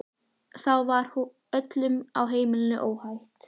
Þá var öllum á heimilinu óhætt.